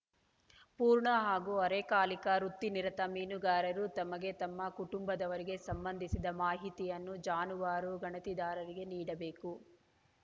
ಪೂರ್ಣ ಹಾಗೂ ಅರೆಕಾಲಿಕ ವೃತ್ತಿನಿರತ ಮೀನುಗಾರರು ತಮಗೆ ತಮ್ಮ ಕುಟುಂಬದವರಿಗೆ ಸಂಬಂಧಿಸಿದ ಮಾಹಿತಿಯನ್ನು ಜಾನುವಾರು ಗಣತಿದಾರರಿಗೆ ನೀಡಬೇಕು